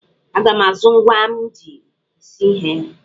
Aga m azụ ngwa m ji esi ihe.